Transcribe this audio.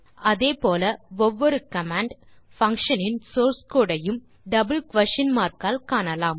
அதே போல் ஒவ்வொரு கமாண்ட் பங்ஷன் இன் சோர்ஸ் கோடு ஐயும் டபிள் குயஸ்ஷன் மார்க் ஆல் காணலாம்